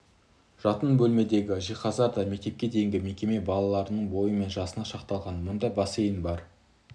жатын бөлмедегі жиһаздар да мектепке дейінгі мекеме балаларының бойы мен жасына шақталған мұнда бассейн бар